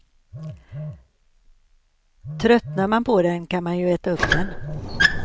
Tröttnar man på den kan man ju äta upp den.